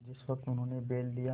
जिस वक्त उन्होंने बैल लिया